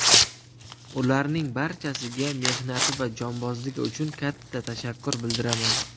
Ularning barchasiga mehnati va jonbozligi uchun katta tashakkur bildiraman!